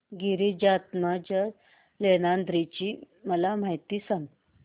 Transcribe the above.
गिरिजात्मज लेण्याद्री ची मला माहिती सांग